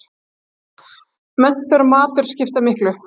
Menntun og matur skipta miklu